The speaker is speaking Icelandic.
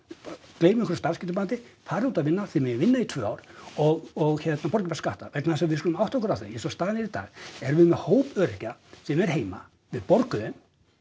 gleymum einhverju starfsgetumati farið út að vinna þið megið vinna í tvö ár og hérna borgið bara skatta vegna þess að við skulum átta okkur á því að eins og staðan er í dag erum við með hóp öryrkja sem er heima við borgum þeim